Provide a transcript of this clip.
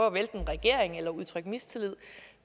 at vælte en regering eller udtrykke mistillid